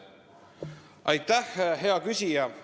Aitäh, hea küsija!